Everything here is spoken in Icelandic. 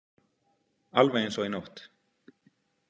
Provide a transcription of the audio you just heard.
Alveg eins og í nótt.